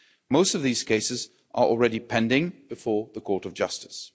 Most of these cases are already pending before the Court of Justice.